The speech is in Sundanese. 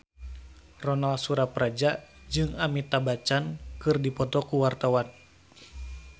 Ronal Surapradja jeung Amitabh Bachchan keur dipoto ku wartawan